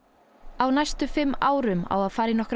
á næstu fimm árum á að fara í nokkrar